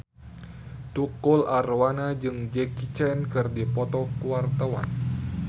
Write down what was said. Tukul Arwana jeung Jackie Chan keur dipoto ku wartawan